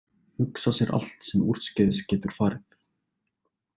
Hugsa sér allt sem úrskeiðis getur farið.